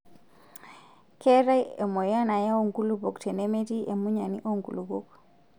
Keetae aimoyian nayau nkulupuok tenemetii emunyani oo nkulupuok.